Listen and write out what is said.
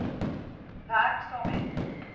werk saam met